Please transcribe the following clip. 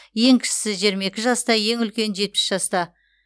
ең кішісі жиырма екі жаста ең үлкені жетпіс жаста